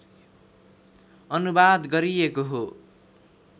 अनुवाद गरिएको हो